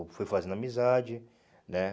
Eu fui fazendo amizade, né?